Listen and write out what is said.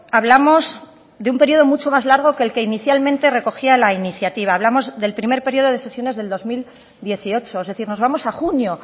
hablamos de un periodo mucho más largo del que inicialmente recogía la iniciativa hablamos del primer periodo de sesiones de dos mil dieciocho es decir nos vamos a junio